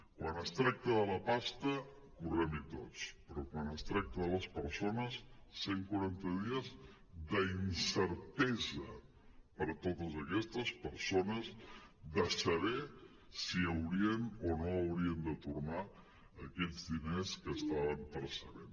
quan es tracta de la pasta correm·hi tots però quan es tracta de les persones cent quaranta dies d’incertesa per a totes aquestes persones de saber si haurien o no haurien de tornar aquests diners que estaven per·cebent